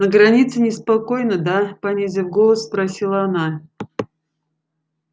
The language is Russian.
на границе неспокойно да понизив голос спросила она